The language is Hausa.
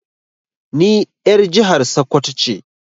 Ni er jihar sakwato ce.